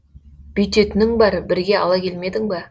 бүйтетінің бар бірге ала келмедің ба